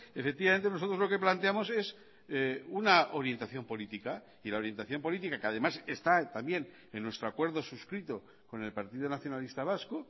efectivamente nosotros lo que planteamos es una orientación política y la orientación política que además está también en nuestro acuerdo suscrito con el partido nacionalista vasco